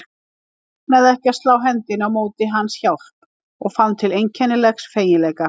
Ég megnaði ekki að slá hendinni á móti hjálp hans og fann til einkennilegs feginleika.